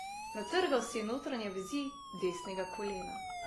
Natrgal si je notranje vezi desnega kolena.